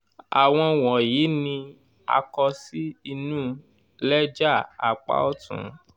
áwọn wọ̀nyìí ni a kọ sí inu lẹ́jà apá ọ̀tún